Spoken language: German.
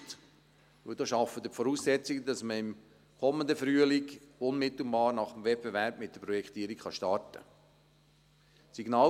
Denn damit schaffen Sie die Voraussetzungen, damit man im kommenden Frühling unmittelbar nach dem Wettbewerb mit der Projektierung starten kann.